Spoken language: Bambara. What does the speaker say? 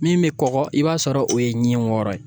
Min bɛ kɔgɔ i b'a sɔrɔ o ye ɲin wɔɔrɔ ye